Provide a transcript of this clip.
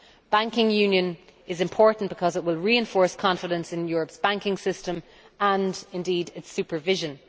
Banking union is important because it will reinforce confidence in Europe's banking system and its supervision.